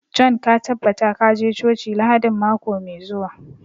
John ka tabbata ka je coci Lahadin mako mai zuwa